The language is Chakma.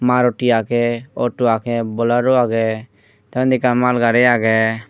maruti agey auto agey bolero agey tey undi ekkan mal gari agey.